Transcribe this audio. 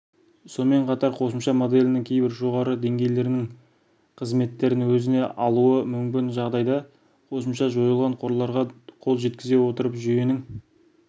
сонымен қатар қосымша моделінің кейбір жоғарғы деңгейлерінің қызметтерін өзіне алуы мүмкін бұл жағдайда қосымша жойылған қорларға қол жеткізе отырып жүйенің